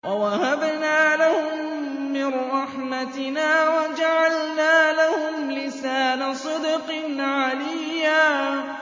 وَوَهَبْنَا لَهُم مِّن رَّحْمَتِنَا وَجَعَلْنَا لَهُمْ لِسَانَ صِدْقٍ عَلِيًّا